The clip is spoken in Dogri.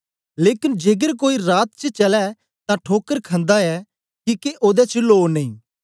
लेकन जेकर कोई रात च चलै तां ठोकर खंदा ऐ किके ओदे च लो नेई